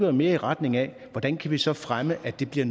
jo mere i retning af hvordan vi så kan fremme at det bliver